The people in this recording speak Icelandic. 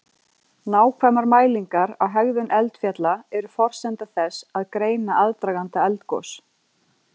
Nákvæmar mælingar á hegðun eldfjalla eru forsenda þess að greina aðdraganda eldgos.